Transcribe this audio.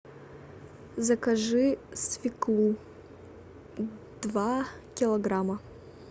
закажи свеклу два килограмма